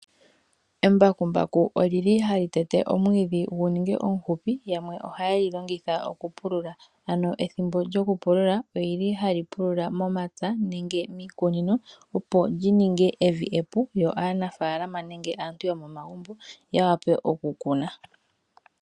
Embakumbaku ohali tete omwiidhi gu ninge omufupi. Yamwe ohaye li longitha okupulula, ano ethimbo lyokupulula ohali pulula momapya nenge iikunino, opo li ninge evi epu yo aanafaalama nenge aantu yomomagumbo ya wape okukuna.